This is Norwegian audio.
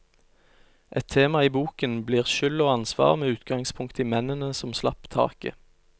Et tema i boken blir skyld og ansvar med utgangspunkt i mennene som slapp taket.